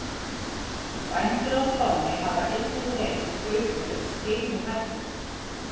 Bændur á Spáni hafa einnig reynst gaupunni skeinuhættir.